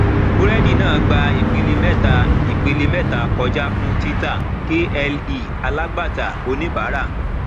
burẹdi náà gbà ìpele mẹta ìpele mẹta kọja fún títà kle alagbata onibara